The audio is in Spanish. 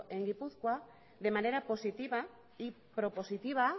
en gipuzkoa de manera positiva y propositiva